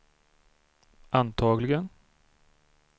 antagligen